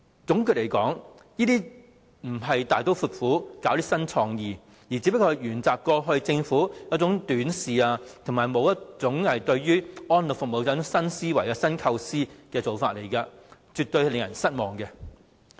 總括來說，這些並不是大刀闊斧、具備新創意，而只是沿襲政府過去短視及對於安老服務沒有新思維、新構思的做法，是絕對令人失望的。